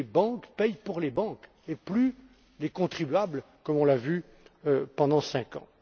Que les banques paient pour les banques, et plus les contribuables, comme on l'a vu pendant cinq ans!